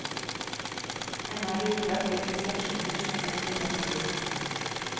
Ennå er det uklart hvilke sanksjoner som kan bli tatt i bruk.